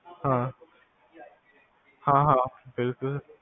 ਹਾਂ, ਹਾਂ ਹਾਂ ਬਿਲਕੁਲ